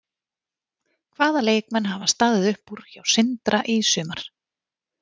Hvaða leikmenn hafa staðið upp úr hjá Sindra í sumar?